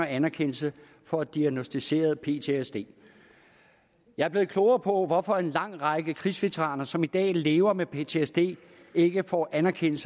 anerkendelse for diagnosticeret ptsd jeg er blevet klogere på hvorfor en lang række krigsveteraner som i dag lever med ptsd ikke får anerkendt